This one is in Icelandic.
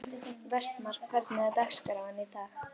Vestmar, hvernig er dagskráin í dag?